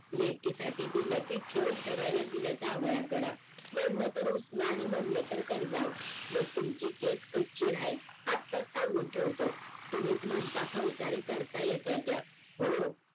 लेकी साठी दिल कि ठेव ठेवायला दिल जावया कड म्हणलं तर उसन म्हणलं तर कर्जाऊ मग तुमची केस कच्ची राहील आताच सांगून ठेवतो तुम्हीच म्हणता फौसदारी करता येताय त्य हो